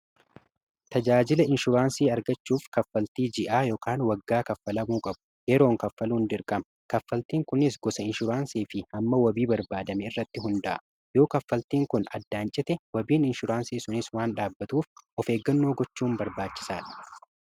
tajaajila inshuraansii argachuuf kaffaltii ji'aa yn waggaa kaffalamuu qabu yeroon kaffaluuhn dirqama kaffaltiin kunis gosa inshuraansii fi hamma wabii barbaadame irratti hundaa'a yoo kaffaltiin kun addaancite wabiin inshuraansii sunis waan dhaabatuuf of eeggannoo gochuun barbaachisaa dha